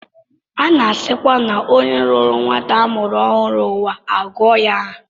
A na-esikwa n'onye lọọrọ nwata a mụrụ ọhụrụ ụwa agụ ya aha